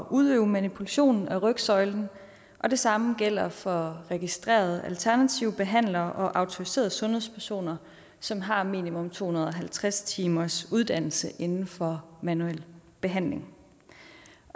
udøve manipulation af rygsøjlen og det samme gælder for registrerede alternative behandlere og autoriserede sundhedspersoner som har minimum to hundrede og halvtreds timers uddannelse inden for manuel behandling